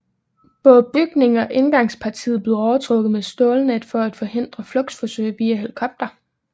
Både bygningen og indgangspartiet blev overtrukket med stålnet for at forhindre flugtforsøg via helikopter